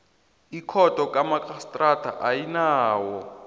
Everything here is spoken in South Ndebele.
ikhotho kamarhistrada ayinawo